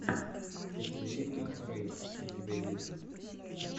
катерина рэй у тебя есть